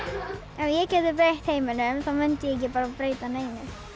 ef ég gæti breytt heiminum þá mundi ég ekki breyta neinu